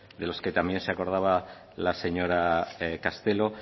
de los que también se acordaba la señora castelo